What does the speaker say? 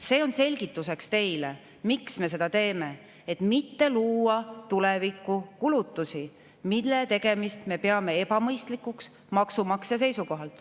See on selgituseks teile, miks me seda teeme: et mitte tulevikukulutusi, mille tegemist me peame ebamõistlikuks maksumaksja seisukohalt.